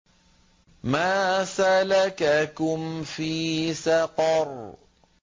مَا سَلَكَكُمْ فِي سَقَرَ